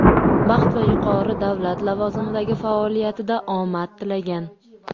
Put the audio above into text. baxt va yuqori davlat lavozimidagi faoliyatida omad tilagan.